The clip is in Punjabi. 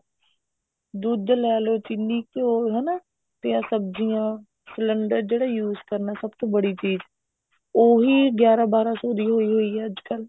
ਦੁੱਧ ਲੈਲੋ ਚਿੰਨੀ ਘਿਉ ਹਨਾ ਤੇ ਆਹ ਸਬਜੀਆਂ ਸਿਲੰਡਰ ਜਿਹੜਾ use ਕਰਨਾ ਸਭ ਤੋਂ ਬੜੀ ਚੀਜ਼ ਉਹੀ ਗਿਆਰਾਂ ਬਾਰਾਂ ਸੋ ਦੀ ਹੋਈ ਹੋਈ ਆ ਅੱਜਕਲ